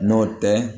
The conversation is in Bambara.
N'o tɛ